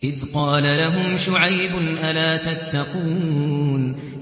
إِذْ قَالَ لَهُمْ شُعَيْبٌ أَلَا تَتَّقُونَ